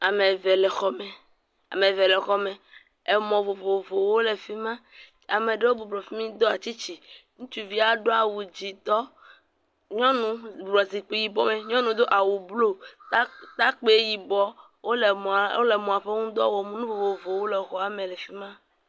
Ame eve le xɔme. Mɔ vovovowo le fi ma. Ame aɖewo bɔbɔ nɔ anyi ɖe afi ma do tsitsi. Ŋutsuvia do awu dzɛ̃tɔ, nyɔnu nɔ zikpui yibɔ me, nyɔnu do awu blu ta takpui yibɔ, wole mɔa wole mɔa ƒe ŋu dɔ wɔm. Nu vovovowo le xɔa me le fi ma.